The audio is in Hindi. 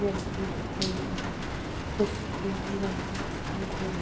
भी दिखाई दे रही है ये कुछ सीढ़ियां भी बनी हुई दिखाई दे रही है |